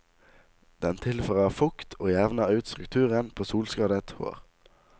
Den tilfører fukt og jevner ut strukturen på solskadet hår.